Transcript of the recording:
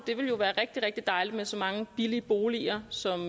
det ville jo være rigtig rigtig dejligt med så mange billige boliger som